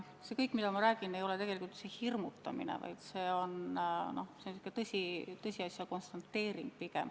See, mida ma räägin, ei ole tegelikult hirmutamine, vaid pigem tõsiasja konstateering.